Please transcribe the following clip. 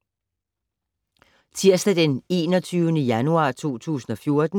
Tirsdag d. 21. januar 2014